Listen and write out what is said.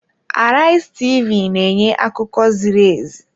Arise TV na-enye akụkọ ziri ezi.